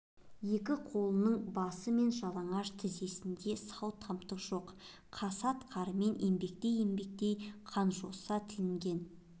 екі қолының басы мен жалаңаш тізесінде сау тамтық жоқ қасат қармен еңбектей-еңбектей қанжоса тілінген